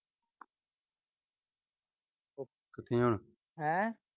ਕਿਥੇ ਆ